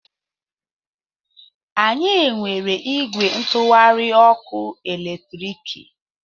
Anyị nwere ìgwè ntụgharị ọkụ eletriki.